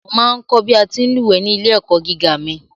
Mo ma ń kọ̀ bí a ti ń lúwẹ̀ẹ́ ní ilé-ẹ̀kọ́ gíga mi.